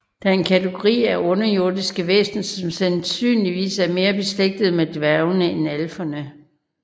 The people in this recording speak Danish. Det er en kategori af underjordiske væsener som sandsynligvis er mere beslægtet med dværgene end alferne